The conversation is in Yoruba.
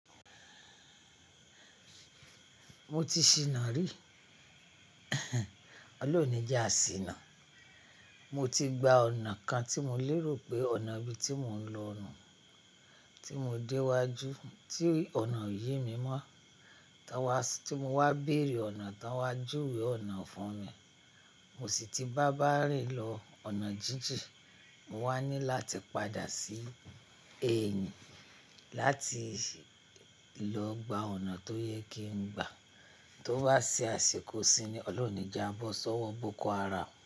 Mo ti ṣina rí, olóun o nìjà ṣìnà. Mo ti gba ọ̀nà kan tí mo lérò pé ọ̀nà bí tí mò ń lọ nun, tí mo dé iwájú tí ọ̀nà o yemí mọ́. Tí mo wá béèrè ọ̀nà tán wa júwe ọ̀nà fún mi. Mo sì ti bá bàárìn lọ ọ̀nà jíjìn, mo wá ní láti padà sí èyìn láti lọ gba ọ̀nà tó yẹ kí n gbà. Tó bá ṣe àṣikọ̀ isinyi ni olóun o nì je à bọ́ sọ́wọ́ bóko haram.